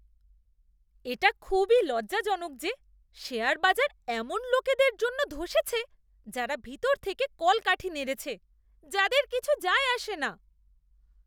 এটা খুবই লজ্জাজনক যে শেয়ার বাজার এমন লোকদের জন্য ধ্বসেছে যারা ভিতর থেকে কলকাঠি নেড়েছে, যাদের কিছু যায় আসে না।